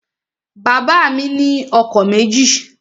Bàbá mi ni ọkọ̀ méjì